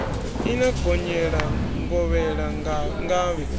i no gonyela ngovhela ngavhe